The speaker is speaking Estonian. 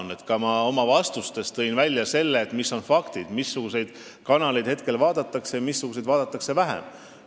Ma tõin ka oma vastustes välja selle, millised on faktid – missuguseid kanaleid vaadatakse praegu rohkem ja missuguseid vähem.